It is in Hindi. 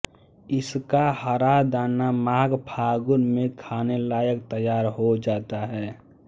इसका हरा दाना माघ फागुन में खाने लायक तैयार हो जाता है